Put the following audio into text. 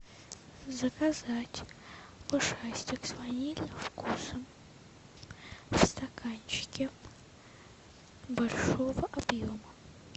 заказать ушастик с ванильным вкусом в стаканчике большого объема